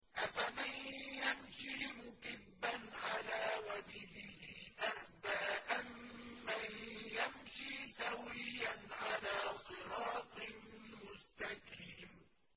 أَفَمَن يَمْشِي مُكِبًّا عَلَىٰ وَجْهِهِ أَهْدَىٰ أَمَّن يَمْشِي سَوِيًّا عَلَىٰ صِرَاطٍ مُّسْتَقِيمٍ